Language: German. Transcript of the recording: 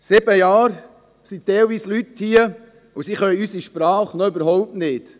Zum Teil sind die Leute sieben Jahre hier und können die Sprache noch überhaupt nicht.